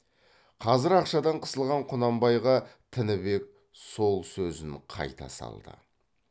қазір ақшадан қысылған құнанбайға тінібек сол сөзін қайта салды